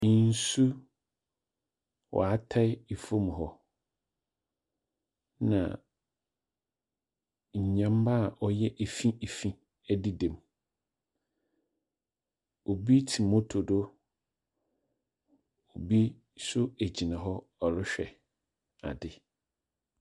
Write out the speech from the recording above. Nsu wɔatae fam hɔ, na nyama a ɔyɛ efi efi dedam. Obi te moto do. Obi nso gyina hɔ ɔrehwɛ ade.